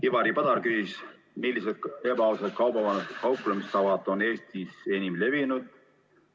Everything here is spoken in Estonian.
Ivari Padar küsis, millised ebaausad kauplemistavad on Eestis enim levinud.